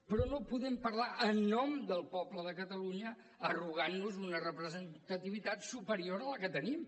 però no podem parlar en nom del poble de catalunya arrogant nos una representativitat superior de la que tenim